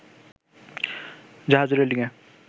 জাহাজের রেলিংএ